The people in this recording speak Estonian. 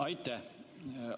Aitäh!